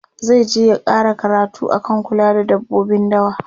zaije ya ƙara karatu akan kula da dabbobin dawa